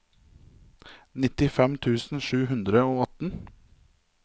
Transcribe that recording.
nittifem tusen sju hundre og atten